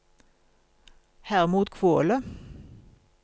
Hermod Kvåle